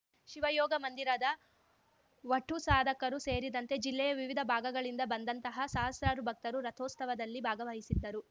ಶಿವಯೋಗಮಂದಿರದ ವಠುಸಾಧಕರು ಸೇರಿದಂತೆ ಜಿಲ್ಲೆಯ ವಿವಿಧ ಭಾಗಗಳಿಂದ ಬಂದಂತಹ ಸಹಸ್ರಾರು ಭಕ್ತರು ರಥೋಸ್ತವದಲ್ಲಿ ಭಾಗವಹಿಸಿದ್ದರು